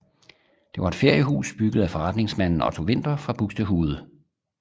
Det var et feriehus bygget af forretningsmanden Otto Winter fra Buxtehude